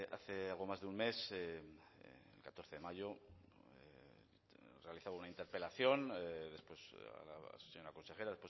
hace algo más de un mes el catorce de mayo realizaba a la señora consejera